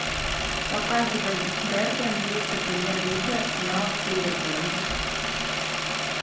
показывай дерби английской премьер лиги арсенала с ливерпулем